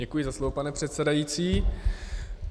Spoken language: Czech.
Děkuji za slovo, pane předsedající.